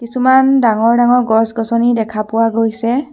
কিছুমান ডাঙৰ ডাঙৰ গছ-গছনি দেখা পোৱা গৈছে।